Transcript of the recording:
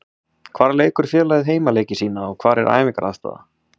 Hvar leikur félagið heimaleiki sína og hvar er æfingaaðstaða?